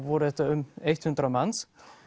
voru þetta um hundrað manns